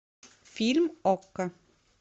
фильм окко